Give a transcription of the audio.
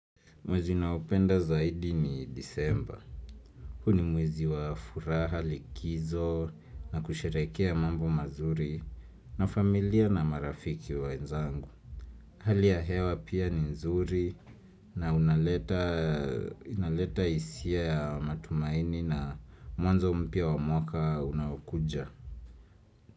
Mwezi ninaopenda zaidi ni disemba. Huu ni mwezi wa furaha, likizo na kusherehekea mambo mazuri na familia na marafiki wenzangu. Hali ya hewa pia ni nzuri na unaleta unaleta hisia ya matumaini na mwanzo mpya wa mwaka unaokuja.